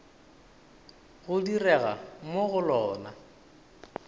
go direga mo go lona